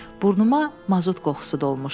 Burnuma mazut qoxusu dolmuşdu.